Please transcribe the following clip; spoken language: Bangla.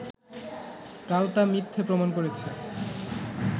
কাল তা মিথ্যে প্রমাণ করেছে